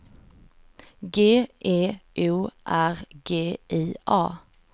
G E O R G I A